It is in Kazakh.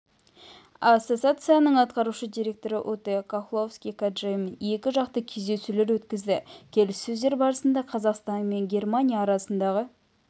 ассоциациясының атқарушы директоры уте кохловски-каджаймен екі жақты кездесулер өткізді келіссөздер барысында қазақстан мен германия арасындағы